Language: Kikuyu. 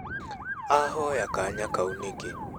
Ahoya kanya kau nĩkĩ?